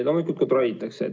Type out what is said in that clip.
Loomulikult kontrollitakse.